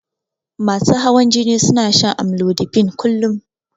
Masu hawan jini suna shan amlodipine kullun